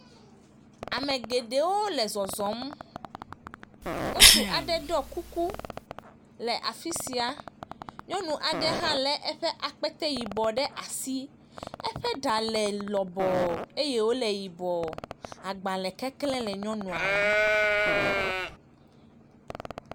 Ame geɖewo le zɔzɔm. Ŋutsu aɖe ɖɔ kukue afisia. Nyɔnu aɖe hã le eƒe akpetee ɖe asi. Eƒe ɖa le lɔbɔ eye wole yibɔ. Agbalẽ keklẽ le nyɔnua nu.